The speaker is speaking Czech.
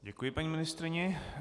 Děkuji paní ministryni.